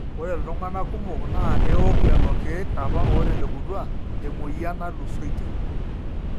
ore iltung'anak kumok naa eok lelo keek apa ootelekutua temwueyian naatulusoitie